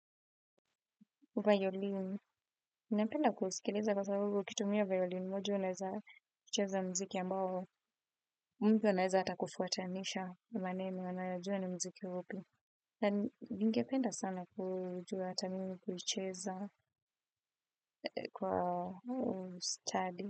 Violini. Napenda kusikiliza kwa sababu ukitumia violini. Mojo unaweza ucheza muziki ambao mtu anaweza hata kufuatanisha maneno anayajua ni muziki upi. Ningependa sana kujua hata mimi kucheza kwa study.